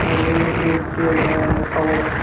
में नृत्य हो रहा है कवड़ा--